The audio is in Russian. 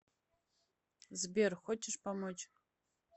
сбер хочешь помочь